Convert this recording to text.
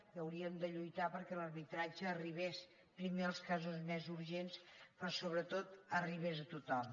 que haurien de lluitar perquè l’arbitratge arribés primer als casos més urgents però sobretot arribés a tothom